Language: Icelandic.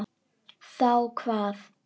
Þá hvað?